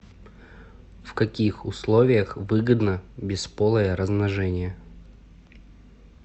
в каких условиях выгодно бесполое размножение